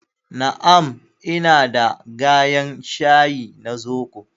Na'am, ina da gayen shayi na zobo